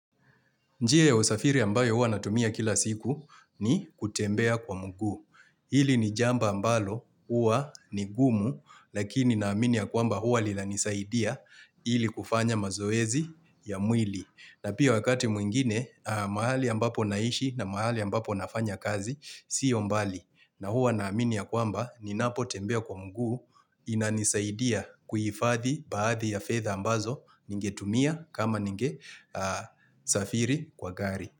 Njia ya usafiri ambayo huwa natumia kila siku ni kutembea kwa mguu Hili ni jamba ambalo huwa ni ngumu lakini naamini ya kwamba huwa lila nisaidia ili kufanya mazoezi ya mwili. Na pia wakati mwingine mahali ambapo naishi na mahali ambapo nafanya kazi sio mbali. Na huwa naamini ya kwamba, ninapo tembea kwa mguu inanisaidia kuhifathi baadhi ya fetha ambazo ningetumia kama ningesafiri kwa gari.